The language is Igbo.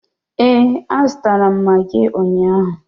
Ee, a zụtara m magị ụnyaahụ.